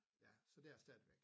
Ja så det er jeg stadigvæk